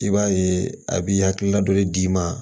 I b'a ye a b'i hakilila joli d'i ma